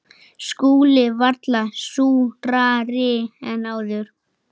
SKÚLI: Varla súrari en áður.